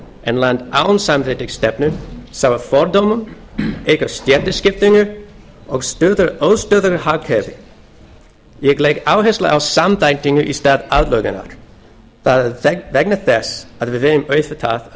en land án samþættingarstefnu sáir fordómum eykur stéttaskiptingu og stuðlar að óstöðugu hagkerfi ég legg áherslu á samþættingu í stað aðlögunar það er vegna þess að við viljum auðvitað að